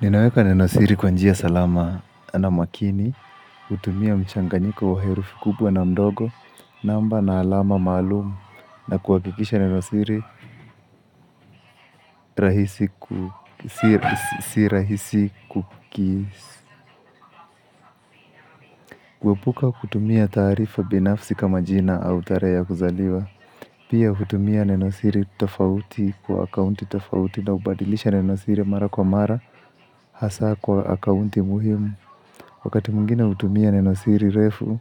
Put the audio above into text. Ninaweka nen osiri kwa njia salama na makini, kutumia mchanganyiko wa herufi kubwa na mdogo, namba na alama maalumu, na kuhakikisha neno siri si rahisi kukisia. Kuepuka kutumia taarifa binafsi kama jina au tarehe ya kuzaliwa. Pia kutumia nenosiri tofauti kwa akaunti tofauti na kubadilisha nenosiri mara kwa mara, hasa kwa akaunti muhimu. Wakati mwingine hutumia neno siri refu